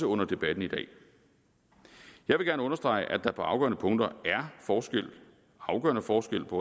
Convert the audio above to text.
under debatten i dag jeg vil gerne understrege at der på afgørende punkter er forskel afgørende forskel på